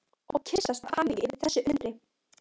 Og kyssast af hamingju yfir þessu undri.